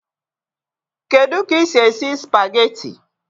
Kedu ka ị si esi spageti?